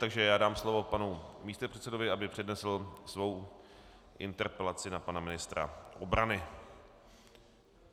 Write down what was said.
Takže já dám slovo panu místopředsedovi, aby přednesl svou interpelaci na pana ministra obrany.